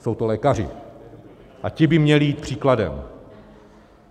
Jsou to lékaři a ti by měli jít příkladem.